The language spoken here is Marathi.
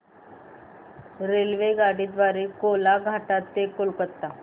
रेल्वेगाडी द्वारे कोलाघाट ते कोलकता